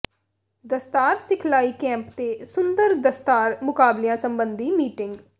ਦਸਤਾਰ ਸਿਖਲਾਈ ਕੈਂਪ ਤੇ ਸੁੰਦਰ ਦਸਤਾਰ ਮੁਕਾਬਲਿਆਂ ਸਬੰਧੀ ਮੀਟਿੰਗ